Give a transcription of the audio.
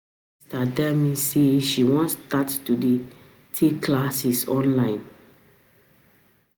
My sister tell me say she wan start to dey take classes online